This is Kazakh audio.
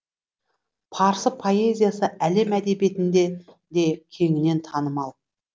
парсы поэзиясы әлем әдебиетінде де кеңінен танымал